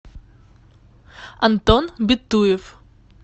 антон битуев